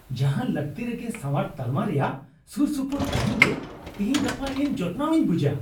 ᱡᱟᱦᱟᱱ ᱞᱟᱹᱠᱛᱤᱨᱮᱜᱮ ᱥᱟᱣᱟᱨ ᱛᱟᱞᱢᱟ ᱨᱮᱭᱟᱜ ᱥᱩᱨᱼᱥᱩᱯᱩᱨ ᱛᱟᱦᱮᱱ ᱜᱮ ᱛᱤᱦᱤᱧ ᱜᱟᱯᱟ ᱤᱧ ᱡᱚᱛᱱᱟᱣ ᱤᱧ ᱵᱩᱡᱟ ᱾